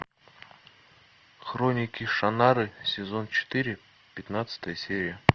хроники шаннары сезон четыре пятнадцатая серия